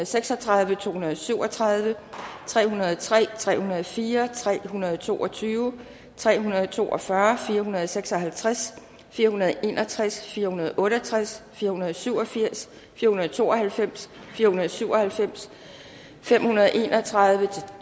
seks og tredive to hundrede og syv og tredive tre hundrede og tre tre hundrede og fire tre hundrede og to og tyve tre hundrede og to og fyrre fire hundrede og seks og halvtreds fire hundrede og en og tres fire hundrede og otte og tres fire hundrede og syv og firs fire hundrede og to og halvfems fire hundrede og syv og halvfems fem hundrede og en og tredive